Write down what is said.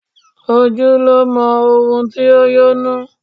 Ojú lo mọ ohun to yó inú